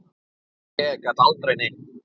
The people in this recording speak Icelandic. Ég gat aldrei neitt.